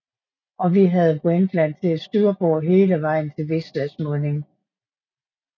Og vi havde Vendland til styrbord hele vejen til Wislas munding